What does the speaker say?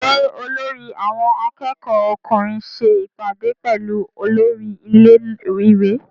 Ṣé olórí àwọn akẹ́kọ̀ọ́ ọkùnrin ṣe ìpàdé pẹ̀lú olórí ilé- ìwé?